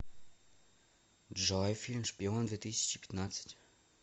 джой фильм шпион две тысячи пятнадцать